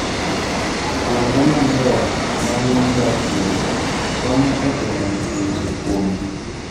Kuonde maler ma winy dakie, konyo e geng'o tuoche kuomgi.